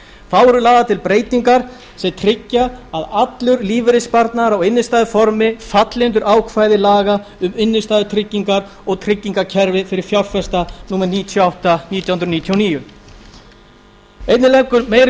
þá eru lagðar til breytingar sem tryggja að allur lífeyrissparnaður á innstæðuformi falli undir ákvæði laga um innstæðutryggingar og tryggingakerfi fyrir fjárfesta númer níutíu og átta nítján hundruð níutíu og níu einnig leggur meiri